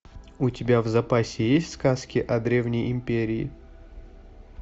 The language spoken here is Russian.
у тебя в запасе есть сказки о древней империи